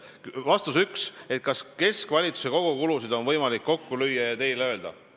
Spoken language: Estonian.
Küsimus nr 1: kas keskvalitsuse kogukulusid on võimalik kokku lüüa ja teile öelda?